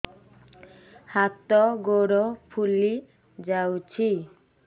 ହାତ ଗୋଡ଼ ଫୁଲି ଯାଉଛି